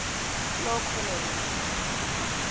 clocolan